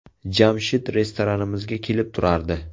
Jamshid restoranimizga kelib turardi.